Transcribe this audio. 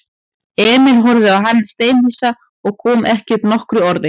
Emil horfði á hann steinhissa og kom ekki upp nokkru orði.